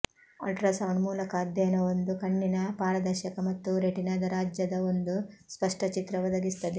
ultrasound ಮೂಲಕ ಅಧ್ಯಯನವೊಂದು ಕಣ್ಣಿನ ಪಾರದರ್ಶಕ ಮತ್ತು ರೆಟಿನಾದ ರಾಜ್ಯದ ಒಂದು ಸ್ಪಷ್ಟ ಚಿತ್ರ ಒದಗಿಸುತ್ತದೆ